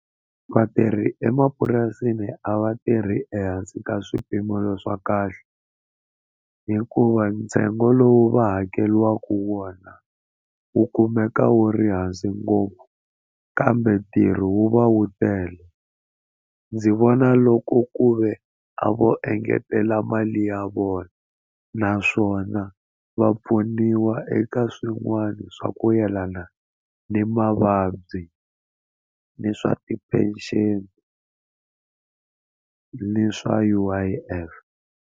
Vatirhi emapurasini a va tirhi ehansi ka swipimelo swa kahle hikuva ntsengo lowu va hakeriwaku wona wu kumeka wu ri hansi ngopfu kambe ntirho wu va wu tele ndzi vona loko ku ve a vo engetela mali ya vona naswona va pfuniwa eka swin'wana swa ku yelana ni mavabyi ni swa ti-pension ni swa U_I_F.